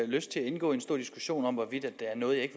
lyst til at indgå en stor diskussion om hvorvidt der er noget jeg